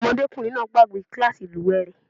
Ọmọdékùnrin náà gbàgbe kílàsì ìlúwè rẹ̀.